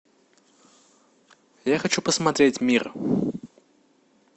я хочу посмотреть мир